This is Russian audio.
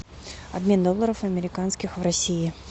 обмен долларов американских в россии